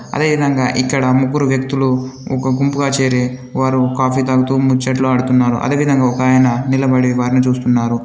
అదేవిధంగా ఇక్కడ ముగ్గురు వ్యక్తులు ఒక గుంపుగా చేరి వారు కాఫీ తాగుతూ ముచ్చట్లు ఆడుతున్నారు. అదేవిధంగా ఒక ఆయన నిలబడి వారిని చూస్తున్నారు.